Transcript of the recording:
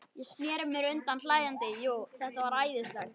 Ég sneri mér undan hlæjandi, jú, þetta var æðislegt.